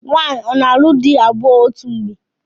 Nwaanyị a na-alụ di abụọ otu mgbe?